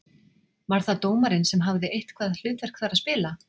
Var það dómarinn sem hafði eitthvað hlutverk þar að spila?